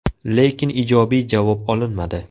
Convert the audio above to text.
Lekin ijobiy javob olinmadi.